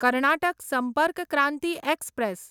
Karnataka Sampark Kranti express